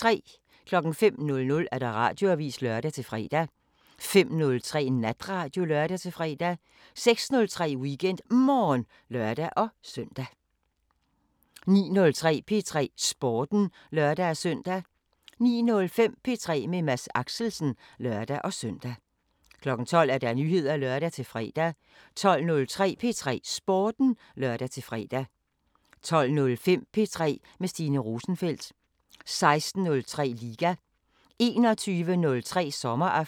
05:00: Radioavisen (lør-fre) 05:03: Natradio (lør-fre) 06:03: WeekendMorgen (lør-søn) 09:03: P3 Sporten (lør-søn) 09:05: P3 med Mads Axelsen (lør-søn) 12:00: Nyheder (lør-fre) 12:03: P3 Sporten (lør-fre) 12:05: P3 med Stine Rosenfeldt 16:03: Liga 21:03: Sommeraften